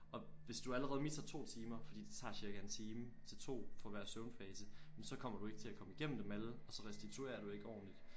Og hvis du allerede misser 2 timer fordi det tager cirka en time til 2 for hver søvnfase men så kommer du ikke til at komme igennem dem alle og så restituerer du ikke ordenligt